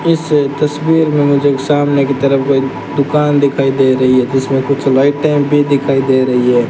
इस तस्वीर मे मुझे एक सामने की तरफ कोई दुकान दिखाई दे रही है जिसमें कुछ लाइटें भी दिखाई दे रही है।